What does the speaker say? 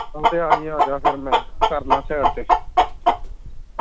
ਏਹੋ ਤੇ ਆ ਜਾਈ ਆਜਾ ਫਿਰ ਮੈ ਕਰਲਾ side ਤੇ